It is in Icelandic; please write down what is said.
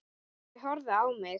Þau horfa á mig.